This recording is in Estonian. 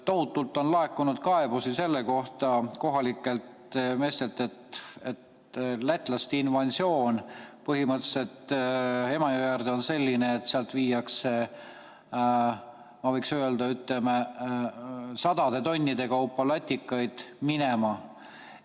Tohutult on laekunud kohalikelt meestelt kaebusi selle kohta, et lätlaste põhimõtteliselt invasioon Emajõe äärde on selline, et sealt viiakse, ma võiks öelda, sadade tonnide kaupa latikaid minema.